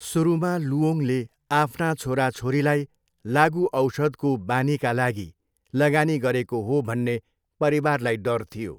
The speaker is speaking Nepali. सुरुमा लुओङले आफ्ना छोराछोरीलाई लागुऔषधको बानीका लागि लगानी गरेको हो भन्ने परिवारलाई डर थियो।